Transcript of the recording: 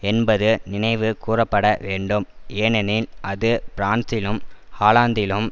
என்பது நினைவு கூரப்பட வேணடும் ஏனெனில் அது பிரான்சிலும் ஹாலாந்திலும்